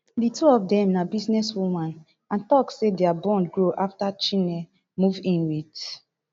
di two of dem na businesswomen and tok say dia bond grow afta chinne move in wit